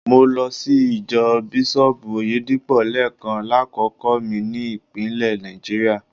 Mo lọ sí ìjọ Bísọ́ọ̀bù Oyèdépò lẹ́ẹ̀kan lákòókò mi ní ìpínlẹ̀ Náìjà.